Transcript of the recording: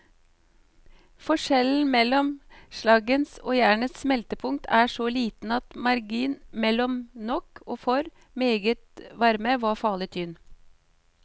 Forskjellen mellom slaggens og jernets smeltepunkt er så liten at marginen mellom nok og for meget varme var farlig tynn.